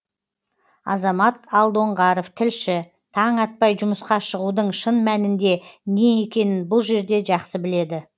азамат алдоңғаров тілші таң атпай жұмысқа шығудың шын мәнінде не екенін бұл жерде жақсы біледі